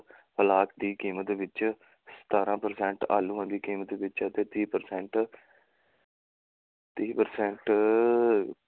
ਦੀ ਕੀਮਤ ਵਿੱਚ ਸਤਾਰਾਂ percent ਆਲੂਆਂ ਦੀ ਕੀਮਤ ਵਿੱਚ ਅਤੇ ਤੀਹ percent ਤੀਹ percent